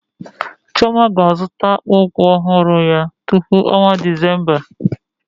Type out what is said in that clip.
Chioma ga-azụta akpụkpọ ụkwụ ọhụrụ ya tupu ọnwa Disemba.